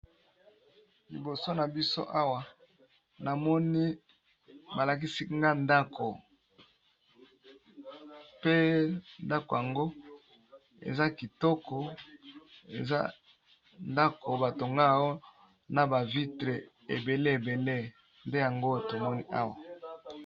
Liboso na biso awa namoni ba lakisi nga ndako pe ndako yango eza kitoko eza ndako ba tonga na ba vitre ebele ebele nde yango tomoni awa.